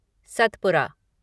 Satpura